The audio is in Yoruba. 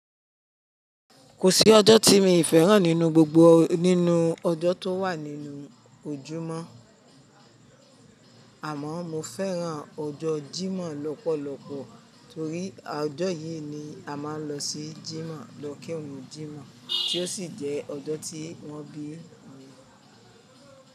Kò sí ọjọ́ tí mi fẹ́ràn nínú gbogbo nínú ọjọ́ tó wà nínú ojúmọ́, àmọ́ mo fẹ́ràn ọjọ́ Jímọ̀ lọ́pọ̀lọpọ̀ torí a ọjọ́ yì ni a máa ń lọ sí Jímọ̀ lọ kírun Jímọ̀ tí ó sì jẹ́ ọjọ́ tí wọ́n bí mi.